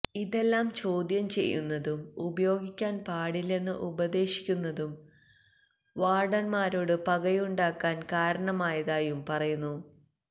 ഇതെല്ലാം ചോദ്യം ചെയ്യുന്നതും ഉപയോഗിക്കാന് പാടില്ലെന്ന് ഉപദേശിക്കുന്നതും വാര്ഡന്മാരോട് പകയുണ്ടാക്കാന് കാരണമായതായും പറയുന്നു